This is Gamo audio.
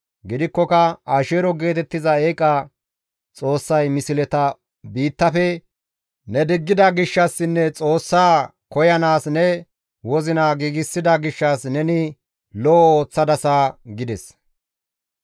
Gidikkoka Asheero geetettiza eeqa xoossay misleta biittafe ne diggida gishshassinne Xoossaa koyanaas ne wozina giigsida gishshas neni lo7o ooththadasa» gides.